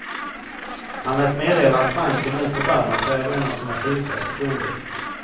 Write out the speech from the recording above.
Han lät meddela att banken nu förbarmat sig över en av sina sjukaste kunder.